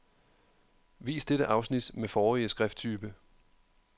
Vis dette afsnit med forrige skrifttype.